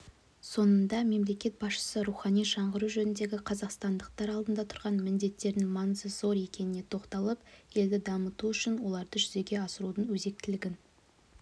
соңында мемлекет басшысы рухани жаңғыру жөніндегі қазақстандықтар алдында тұрған міндеттердің маңызы зор екеніне тоқталып елді дамыту үшін оларды жүзеге асырудың өзектілігін